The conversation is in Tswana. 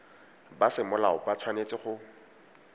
ba semolao ba tshwanetse go